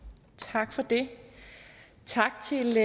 tak for det tak til